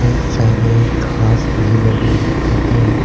इतने सारे घास भी लगे हुए है।